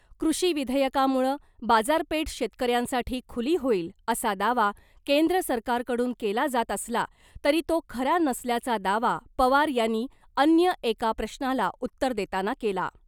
कृषी विधेयकामुळं बाजारपेठ शेतकऱ्यांसाठी खुली होईल असा दावा केंद्र सरकारकडून केला जात असला तरी तो खरा नसल्याचा दावा पवार यांनी अन्य एका प्रश्नाला उत्तर देताना केला .